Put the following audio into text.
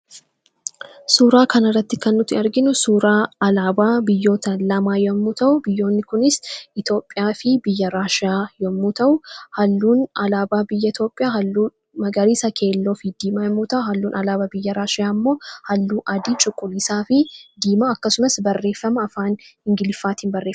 Suuraa kana irratti kan nuti arginu suuraa alaabaa biyyoota lamaa yemmuu ta'u, biyyoonni kunis Itoophiyaafi biyya Raashiyaa yemmuu ta'u, haalluun alaabaa biyya Itoophiyaa magariisa, keelloofi diimaa yeroo ta'u, haalluun alaabaa biyya Raashiyaa ammoo haalluu adii, cuquliisaafi diimaa akkasumas barreeffama afaan Ingiliiziitin barreeffame.